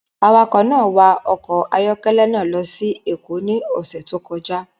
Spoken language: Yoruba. Awakọ̀ náà wa ọkọ̀ ayọ́kẹ́lẹ́ náà lọ sí Èkó ní ọ̀sẹ̀ tó kọjá